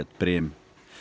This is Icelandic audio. Brim